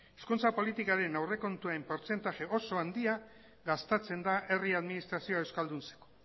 hezkuntza politikaren aurrekontuen portzentai oso handia gastatzen da herri administrazioa euskalduntzen